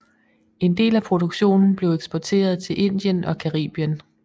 En del af produktionen blev eksporteret til Indien og Caribien